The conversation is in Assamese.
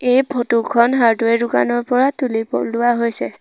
এই ফটো খন হাৰ্ডৱেৰ দোকানৰ পৰা তুলি পলোৱা লোৱা হৈছে।